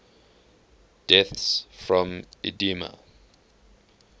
deaths from edema